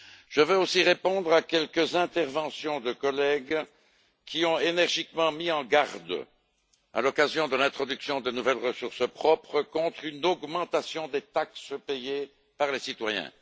Je veux aussi répondre à quelques interventions de collègues qui ont énergiquement mis en garde, à l'occasion de l'introduction de nouvelles ressources propres, contre une augmentation des taxes payées par les citoyens.